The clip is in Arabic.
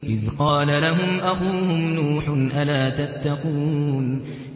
إِذْ قَالَ لَهُمْ أَخُوهُمْ نُوحٌ أَلَا تَتَّقُونَ